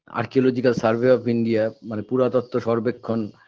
Archaeological Survey of India মানে পুরাতত্ত্ব সর্বেক্ষণ